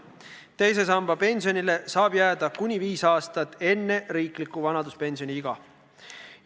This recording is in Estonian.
Õigus teise samba pensionile tekib kuni viis aastat enne riikliku vanaduspensioni ikka jõudmist.